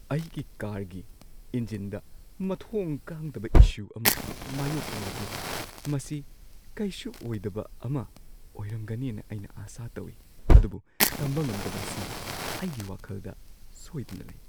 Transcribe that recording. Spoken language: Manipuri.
ꯑꯩꯒꯤ ꯀꯥꯔꯒꯤ ꯏꯟꯖꯤꯟꯗ ꯃꯊꯣꯡ ꯈꯪꯗꯕ ꯏꯁꯨ ꯑꯃ ꯃꯥꯌꯣꯛꯅꯔꯛꯂꯤ꯫ ꯃꯁꯤ ꯀꯩꯁꯨ ꯑꯣꯏꯗꯕ ꯑꯃ ꯑꯣꯏꯔꯝꯒꯅꯤꯅ ꯑꯩꯅ ꯑꯥꯁꯥ ꯇꯧꯏ, ꯑꯗꯨꯕꯨ ꯇꯝꯕ ꯉꯝꯗꯕꯁꯤ ꯑꯩꯒꯤ ꯋꯥꯈꯜꯗ ꯁꯣꯏꯗꯅ ꯂꯩ꯫